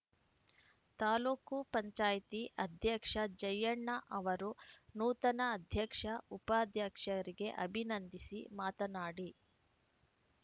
ತಾಲೂಕು ಪಂಚಾಯಿತಿ ಅಧ್ಯಕ್ಷ ಜಯಣ್ಣ ಅವರು ನೂತನ ಅಧ್ಯಕ್ಷ ಉಪಾಧ್ಯಕ್ಷರಿಗೆ ಅಭಿನಂದಿಸಿ ಮಾತನಾಡಿ